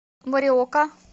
мориока